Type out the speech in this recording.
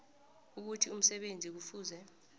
ukuthi umsebenzi kufuze